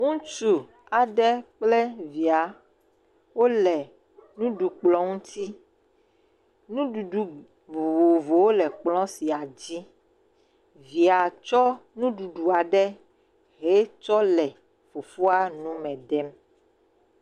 Ŋutsu aɖe kple via wo le nuɖukplɔ ŋuti. Nuɖuɖu vovovowo le kplɔ sia dzi. Via tsɔ nuɖuɖua le fofoa nume ɖem